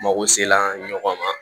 Mago sela an ɲɔgɔn ma